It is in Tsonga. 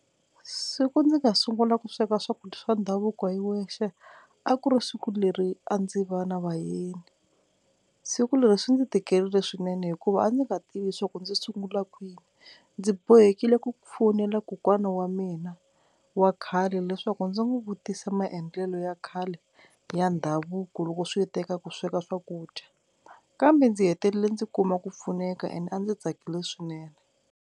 Siku ndzi nga sungula ku sweka swakudya swa ndhavuko hi wexe a ku ri siku leri a ndzi va na vayeni, siku leri swi ndzi tikerile swinene hikuva a ndzi nga tivi swa ku ndzi sungula kwini ndzi bohekile ku fowunela kokwana wa mina wa khale leswaku ndzi n'wi vutisa maendlelo ya khale ya ndhavuko loko swi ta eka ku sweka swakudya, kambe ndzi hetelele ndzi kuma ku pfuneka and a ndzi tsakile swinene.